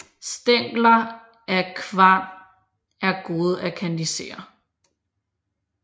Stængler af kvan er gode at kandisere